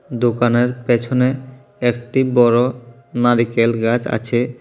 দোকানের পেছনে একটি বড় নারিকেল গাছ আছে।